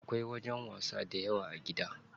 Akwai wajen wasa dayawa a gidan.